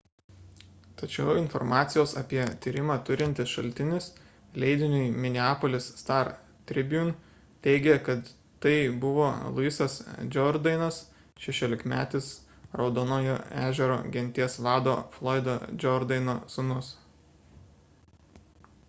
tačiau informacijos apie tyrimą turintis šaltinis leidiniui minneapolis star-tribune teigė kad tai buvo louisas jourdainas šešiolikmetis raudonojo ežero genties vado floydo jourdaino sūnus